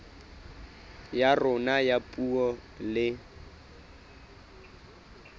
ya rona ya puo le